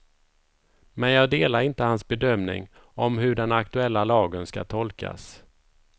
Men jag delar inte hans bedömning om hur den aktuella lagen ska tolkas.